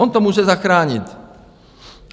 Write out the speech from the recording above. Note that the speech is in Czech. On to může zachránit.